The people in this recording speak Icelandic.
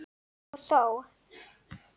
Og þó!